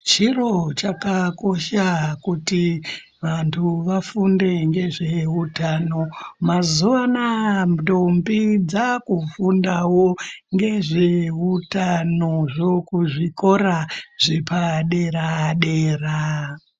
Chiro chakakosha kuti vanthu vafunde ngezveutano mazuwanaa ndombi dzaakufundao ngezveutanozvo kuzvikora zvedera dera.